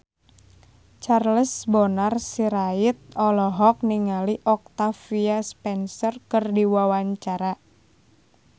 Charles Bonar Sirait olohok ningali Octavia Spencer keur diwawancara